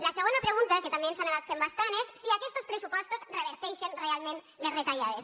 la segona pregunta que també ens han anat fent bastant és si aquestos pressupostos reverteixen realment les retallades